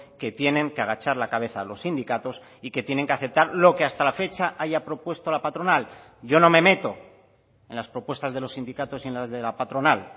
que tienen que agachar la cabeza a los sindicatos y que tienen que aceptar lo que hasta la fecha haya propuesto la patronal yo no me meto en las propuestas de los sindicatos y en las de la patronal